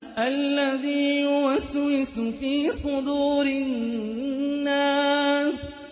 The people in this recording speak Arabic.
الَّذِي يُوَسْوِسُ فِي صُدُورِ النَّاسِ